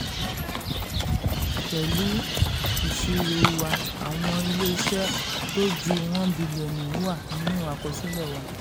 pẹ̀lú ìṣirò wa àwọn ilé-iṣẹ́ tó ju one billion wà nínú àkọsílẹ̀ wa.